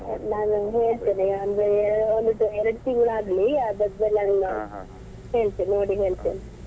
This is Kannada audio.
ನಾನು ಹೇಳ್ತೇನೆ ಅಂದ್ರೆ ಒಂದು ಎರಡು ತಿಂಗಳಾಗ್ಲಿ ಅದಾದ್ಮೇಲೆ ನಾನು ಹೇಳ್ತೇನೆ ನೋಡಿ ಹೇಳ್ತೇನೆ.